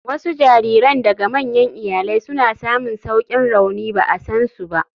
Wasu jariran daga manyan iyalai suna samun saukin rauni ba a san su ba.